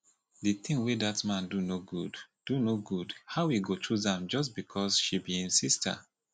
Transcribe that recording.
the thing wey dat man do no good do no good how e go choose am just because she be im sister